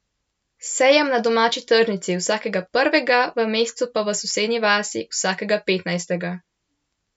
Sejem na domači tržnici vsakega prvega v mesecu pa v sosednji vasi vsakega petnajstega.